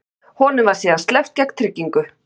Honum var síðan sleppt gegn tryggingu